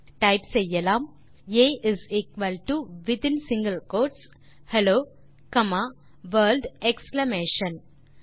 ஆகவே டைப் செய்யலாம் ah with in single quotes hello comma world exclamation